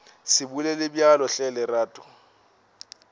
se bolele bjalo hle lerato